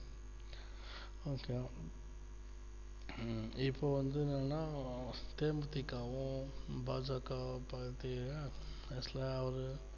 okay வா ஹம் இப்போ வந்து என்னன்னா தே மு தி க வோ பா ஜா காவோ party actual அவரு